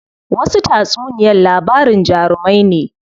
Wasu tatsuniyar labarin jarumai ne.